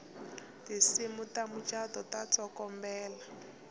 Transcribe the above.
tinsimu ta mucato ta tsokombela